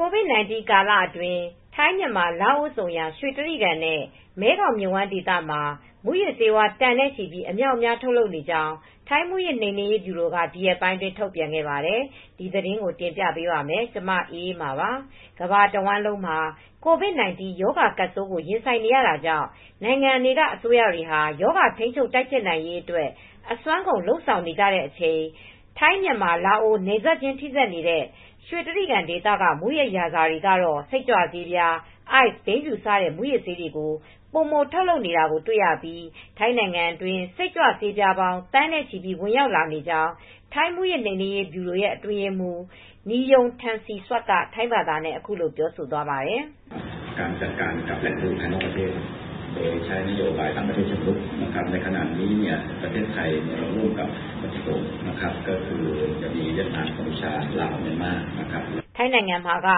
COVID-19 ကာလအတွင်း ထိုင်း၊ မြန်မာ၊ လာအို ဆုံရာ ရွှေတြိဂံနဲ့ မဲခေါင်မြစ်ဝှမ်းဒေသမှာ မူးယစ်ဆေးဝါး တန်နဲ့ချီပြီး အမြောက်အမြား ထုတ်လုပ်နေကြောင်း ထိုင်းမူးယစ်နှိမ်နင်းရေးဗျူရိုက ဒီရက်ပိုင်းအတွင်း ထုတ်ပြန်ခဲ့ပါတယ်။ အပြည့်အစုံကို ထိုင်းအခြေစိုက် ဗွီအိုအေ မြန်မာပိုင်း သတင်းထောက် မအေးအေးမာ တင်ပြပေးထားပါတယ်။ ကမ္ဘာတဝန်းလုံးမှာ COVID-19 ရောဂါကပ်ဆိုးကို ရင်ဆိုင်နေတာကြောင့် နိုင်ငံအစိုးရတွေဟာ ရောဂါထိန်းချုပ် တိုက်ဖျက်နိုင်ရေးအတွက် အစွမ်းကုန် လုပ်ဆောင်နေကြရတဲ့ အချိန်မှာ ထိုင်း၊ မြန်မာ၊ လာအို နယ်စပ်ချင်း ထိစပ်နေတဲ့ Golden Triangle ရွှေတြိဂံဒေသက မူးယစ်ရာဇာတွေကတော့ စိတ်ကြွဆေး၊ ICE၊ ဘိန်းဖြူ စတဲ့ မူးယစ်ဆေးတွေကို ပိုမိုထုတ်လုပ်နေတာ တွေ့ရပြီး ထိုင်းနိုင်ငံအတွင်း စိတ်ကြွဆေးပြားပေါင်း သန်းနဲ့ချီ ဝင်ရောက်လာနေကြောင်း ထိုင်းမူးယစ်နှိမ်နင်းရေးဗျူရို The Office of the Narcotics Control Board of Thailand (ONCB) အထွေထွေအတွင်းရေးမှူး Niyom Termsrisuk က ထိုင်းဘာသာနဲ့ အခုလို ထုတ်ဖော်ပြောဆိုသွားပါတယ်။ “ထိုင်းနိုင်ငံမှာက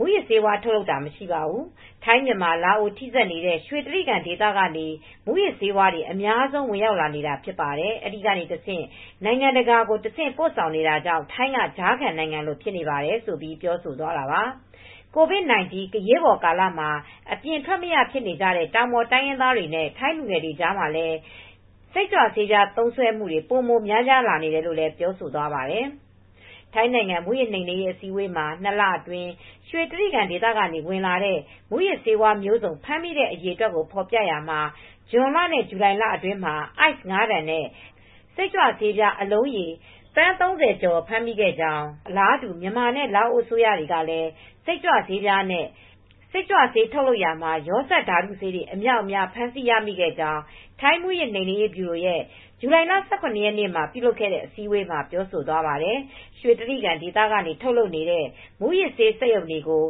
မူးယစ်ဆေးဝါးထုတ်လုပ်တာ မရှိဘူး။ ထိုင်း၊ မြန်မာ၊ လာအို ထိစပ်နေတဲ့ ရွှေတြိဂံဒေသကနေ မူးယစ်ဆေးဝါးတွေက အများဆုံး ဝင်ရောက်လာနေတာ ဖြစ်တယ်။ အဲဒီကနေတဆင့် နိုင်ငံတကာကို တဆင့်ပို့ဆောင်နေတာကြောင့် ထိုင်းက ကြားခံနိုင်ငံလို ဖြစ်နေပါတယ်။” COVID-19 အရေးပေါ်ကာလ အချိန်မှာ အပြင်ထွက်မရ ဖြစ်နေကြတဲ့ တောင်ပေါ် တိုင်းရင်းသားတွေ၊ ထိုင်းလူငယ်တွေ အကြားမှာ စိတ်ကြွဆေး သုံးစွဲမှုတွေ ပိုမိုများပြားလာနေတယ်လို့လည်း ပြောဆိုသွားပါတယ်။ ထိုင်းနိုင်ငံ မူးယစ်နှိမ်နင်းရေး အစည်းအဝေးမှာ နှစ်လအတွင်း ရွှေတြိဂံဒေသက ဝင်လာတဲ့ မူးယစ်ဆေးဝါးမျိုးစုံ ဖမ်းမိတဲ့ အရေအတွက် ဖော်ပြထားရာမှာ ဇွန်လနဲ့ ဇူလိုင်လအတွင်း ICE ၅ တန်နဲ့ စိတ်ကြွဆေးအလုံးရေပေါင်း သန်း ၃၀ ကျော် ဖမ်းမိခဲ့ကြောင်း၊ အလားတူ မြန်မာနဲ့ လာအို အစိုးရတွေကလည်း စိတ်ကြွဆေးပြားနဲ့ စိတ်ကြွဆေး ထုတ်ရာမှာ ရောစပ်ဓာတုဆေးတွေ အမြောက်အမြား ဖမ်းဆီးရမိခဲ့ကြောင်း ထိုင်းမူးယစ်နှိမ်နင်းရေးဗျူရိုရဲ့ ဇူလိုင်လ ၁၇ ရက်နေ့မှာ ပြုလုပ်တဲ့ အစည်းအဝေးမှာ ပြောဆိုသွားပါတယ်။ ရွှေတြိဂံဒေသကနေ ထုတ်နေတဲ့ မူးယစ်ဆေးစက်ရုံတွေကို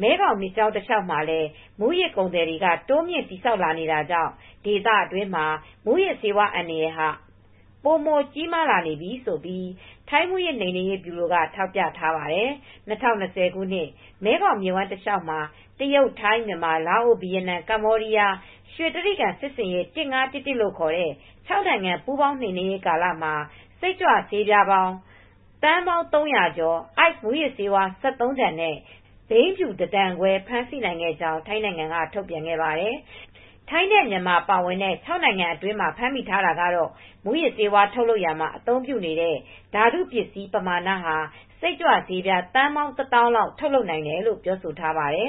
မဲခေါင်မြစ်ကြောင်း တလျှောက်မှာလည်း မူးယစ်ကုန်သည်တွေက တိုးမြှင့် တည်ဆောက်လာနေတာကြောင့် ဒေသတွင်းမှာ မူးယစ်ဆေးအန္တရာယ်ဟာ ပိုမိုကြီးမားလာနေပြီဆိုပြီး ထိုင်းမူးယစ်နှိမ်နင်းရေးဗျူရိုက ထောက်ပြထားပါတယ်။ ၂၀၂၀ ခုနှစ် မဲခေါင်မြစ်ဝှမ်းတလျှောက်မှာ တရုတ်၊ ထိုင်း၊ မြန်မာ၊ လာအို၊ ဗီယက်နမ်၊ ကမ္ဘောဒီးယား ရွှေတြိဂံစစ်ဆင်ရေး ၁၅၁၁ လို့ခေါ်တဲ့ ခြောက်နိုင်ငံ ပူးပေါင်းနှိမ်နင်းရေးကာလမှာ Methamphetamine စိတ်ကြွဆေးပြား သန်းပေါင်း ၃၀၀ ကျော်၊ ICE မူးယစ်ဆေး ၁၃ တန်နဲ့ ဘိန်းဖြူ ၁ တန်ခွဲ ဖမ်းဆီးနိုင်ခဲ့ကြောင်း ထိုင်းနိုင်ငံက ထုတ်ပြန်ခဲ့ပါတယ်။ ထိုင်းနဲ့ မြန်မာ ပါဝင်တဲ့ ခြောက်နိုင်ငံအတွင်းမှာ ဖမ်းမိထားတာကတော့ မူးယစ်ဆေး ထုတ်လုပ်ရာမှာ အသုံးပြုနေတဲ့ ဓာတုပစ္စည်း ပမာဏဟာ စိတ်ကြွဆေးပြား သန်းပေါင်း ၁၀,၀၀၀ လောက် ထုတ်လုပ်နိုင်တယ်လို့ ဆိုပါတယ်။